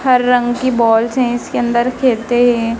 हर रंग की बॉल्स हैं इसके अंदर खेलते हैं।